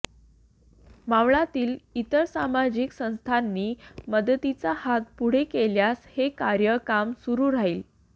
मावळातील इतर सामाजिक संस्थांनी मदतीचा हात पुढे केल्यास हे कार्य कायम सुरू राहील